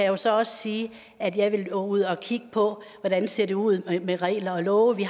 jo så også sige at jeg vil gå ud og kigge på hvordan det ser ud med regler og love